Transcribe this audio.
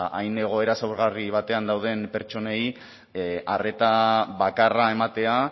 ba hain egoera zaurgarri batean dauden pertsonei arreta bakarra ematea